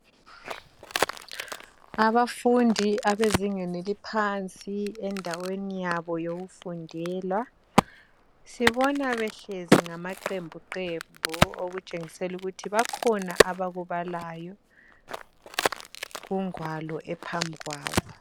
Abafundi abezingeni eliphansi endaweni yabo yokufundela sibona behlezi ngama qembuqembu okutshengisela ukuthi bakhona abakubalayo kungwalo ephambi kwabo.